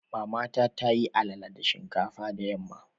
Mamata ta yi alala da shinkafa da yamma.